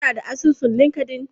Kuna da asusun Linkedln?